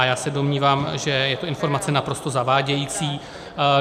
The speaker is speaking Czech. A já se domnívám, že je to informace naprosto zavádějící.